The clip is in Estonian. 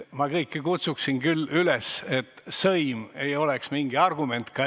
Ma kutsuksin küll kõiki üles, et sõim ei oleks mingi argument.